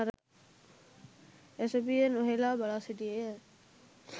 ඇසපිය නොහෙලා බලාසිටියේය.